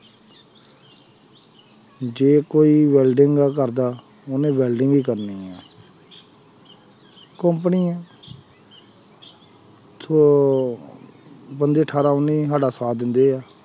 ਜੇ ਕੋਈ ਵੈਲਡਿੰਗ ਦਾ ਕਰਦਾ ਉਹਨੇ ਵੈਲਡਿੰਗ ਹੀ ਕਰਨੀ ਹੈ company ਹੈ ਤੋ ਬੰਦੇ ਅਠਾਰਾਂ ਉੱਨੀ ਸਾਡਾ ਸਾਥ ਦਿੰਦੇ ਹੈ।